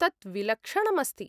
तत् विलक्षणम् अस्ति!